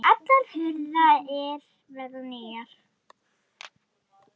Og allar hurðir verða nýjar.